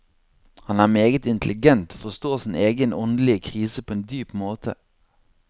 Han er meget intelligent, forstår sin egen åndelige krise på en dyp måte.